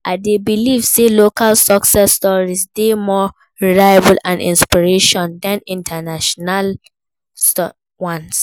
I dey believe say local success stories dey more relatable and inspiring than international ones.